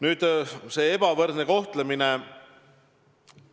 Nüüd, see ebavõrdne kohtlemine.